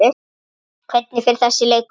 Hvernig fer þessi leikur?